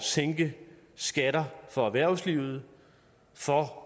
sænke skatterne for erhvervslivet